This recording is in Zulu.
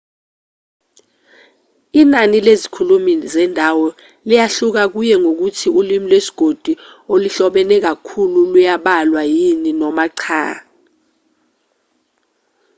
inani lezikhulumi zendawo liyahluka kuye ngokuthi ulimi lwesigodi oluhlobene kakhulu luyabalwa yini noma cha